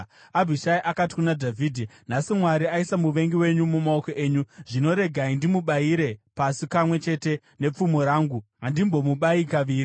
Abhishai akati kuna Dhavhidhi, “Nhasi Mwari aisa muvengi wenyu mumaoko enyu. Zvino regai ndimubayire pasi kamwe chete nepfumo rangu; handimbomubayi kaviri.”